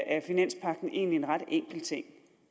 er finanspagten egentlig en ret enkel ting